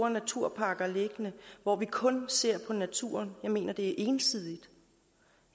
naturpakker liggende hvor vi kun ser på naturen jeg mener det er ensidigt